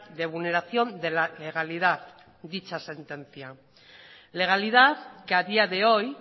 de vulneración de la legalidad dicha sentencia legalidad que a día de hoy